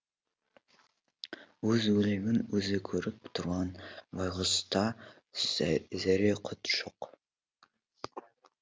өз өлегін өзі көріп тұрған байғұста зәре құт жоқ